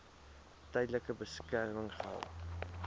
tydelike beskerming gehou